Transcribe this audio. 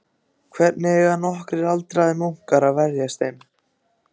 Hvernig eiga nokkrir aldraðir munkar að verjast þeim?